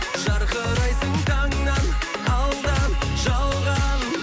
жарқырайсың таңнан алдан жалған